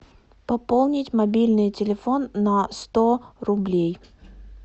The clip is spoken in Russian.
пополнить мобильный телефон на сто рублей